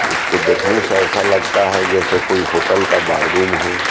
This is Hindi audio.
उसको देखने से ऐसा लगता है जैसे कोई होटल का बाररूम हो।